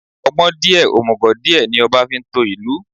Ọgbọ́n díè, òmùgò díẹ̀, ní ọba fi ń to ìlú.